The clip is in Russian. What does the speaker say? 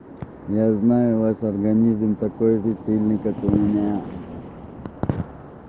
я знаю ваш организм такой же сильный как у меня